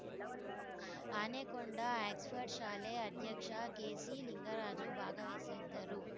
Anekonda Oxford ಶಾಲೆ ಅಧ್ಯಕ್ಷ ಕೆಸಿಲಿಂಗರಾಜು ಭಾಗವಹಿಸದ್ದರು